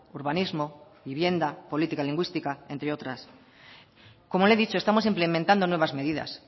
urbanismo vivienda política lingüística entre otras como le he dicho estamos implementando nuevas medidas